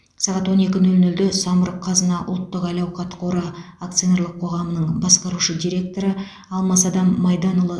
сағат он екі нөл нөлде самұрық қазына ұлттық әл ауқат қоры акционерлік қоғамының басқарушы директоры алмасадам майданұлы